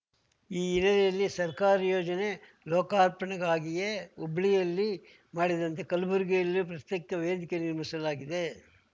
ಈ ಹಿನ್ನೆಲೆಯಲ್ಲಿ ಸರ್ಕಾರಿ ಯೋಜನೆ ಲೋಕಾರ್ಪಣೆಗಾಗಿಯೇ ಹುಬ್ಳಿಯಲ್ಲಿ ಮಾಡಿದಂತೆ ಕಲ್ಬುರ್ಗಿಯಲ್ಲೂ ಪ್ರಸ್ತೈಕ ವೇದಿಕೆ ನಿರ್ಮಿಸಲಾಗಿದೆ